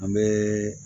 An bɛ